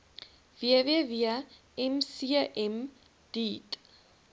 www mcm deat